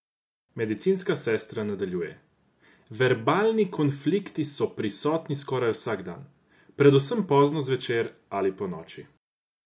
Medicinska sestra nadaljuje: "Verbalni konflikti so prisotni skoraj vsak dan, predvsem pozno zvečer ali ponoči.